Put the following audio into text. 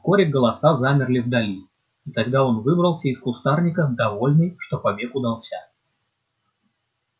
вскоре голоса замерли вдали и тогда он выбрался из кустарника довольный что побег удался